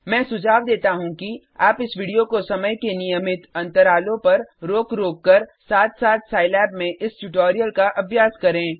मैं सुझाव देता हूँ कि आप इस वीडियो को समय के नियमित अंतरालों पर रोक रोककर साथ साथ सिलाब में इस ट्यूटोरियल का अभ्यास करें